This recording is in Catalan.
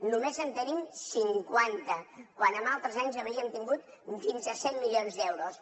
només en tenim cinquanta quan en altres anys havíem tingut fins a cent milions d’euros